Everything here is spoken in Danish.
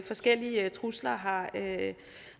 forskellige trusler har